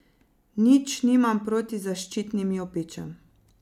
Nič nimam proti zaščitnim jopičem.